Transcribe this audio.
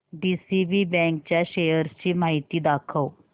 DCB bank च्या shares ची माहिती दाखव